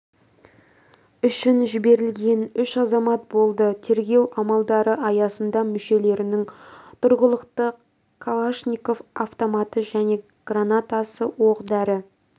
үшін жіберілген үш азамат болды тергеу амалдары аясында мүшелерінің тұрғылықты калашников автоматы қол гранатасы оқ-дәрі